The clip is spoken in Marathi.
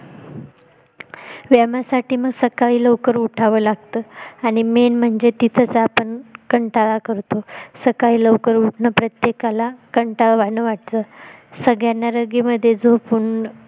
व्यायामासाठी मग सकाळी लवकर उठावं लागतं आणि main म्हणजे तिथंच आपण कंटाळा करतो सकाळी लवकर उठणं प्रत्येकाला कंटाळवाणं वाटतं सगळ्यांना रघी मध्ये झोपून